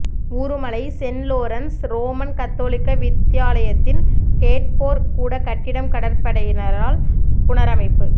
Urumalai saint Lawrence Roman கத்தோலிக்க வித்தியாலயத்தின் கேட்போர் கூட கட்டிடம் கடற்படையினரால் புனரமைப்பு